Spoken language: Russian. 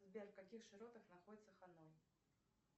сбер в каких широтах находится ханон